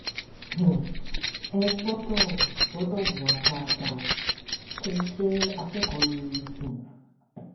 um ẹ gbọdọ gbọdọ hùwà dáadáa ó kẹ ẹ jẹ akẹkọọ rere um